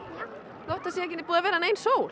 þótt það sé ekki búin að vera nein sól